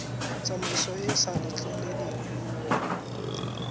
tsamaiso e e sa letleleleng